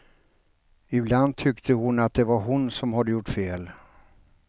Ibland tyckte hon att det var hon som hade gjort fel.